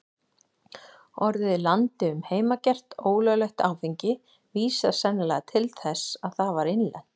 Orðið landi um heimagert, ólöglegt áfengi, vísar sennilega til þess að það var innlent.